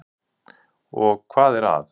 Og hvað er að?